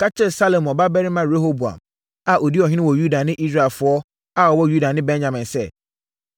“Ka kyerɛ Salomo babarima Rehoboam a ɔdi ɔhene wɔ Yuda ne Israelfoɔ a wɔwɔ Yuda ne Benyamin sɛ,